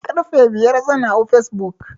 Karfe biyar zan hau facebook